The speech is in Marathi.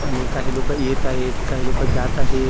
आणि काही लोक येत आहेत काही लोक जात आहेत .